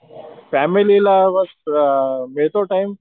फॅमिलीला देतो टाइम